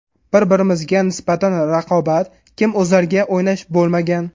Bir-birimizga nisbatan raqobat, kim o‘zarga o‘ynash bo‘lmagan.